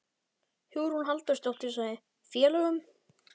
Hugrún Halldórsdóttir: Félögum?